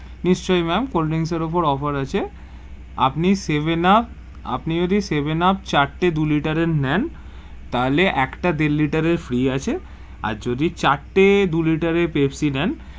নিশ্চই ma'am colddrinks এর ওপর Offer আছে, আপনি সেভেন উপ, আপনি যদি সেভেন উপ চার তে দু Liter এর নেন তাহলে একটা দেড় liter free আছে আর যদি চার তে দু liter এর পেপসি নেন,